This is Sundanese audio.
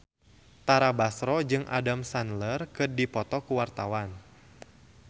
Tara Basro jeung Adam Sandler keur dipoto ku wartawan